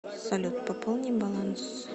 салют пополни баланс